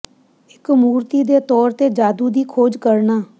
ਇੱਕ ਮੂਰਤੀ ਦੇ ਤੌਰ ਤੇ ਜਾਦੂ ਦੀ ਖੋਜ ਕਰਨਾ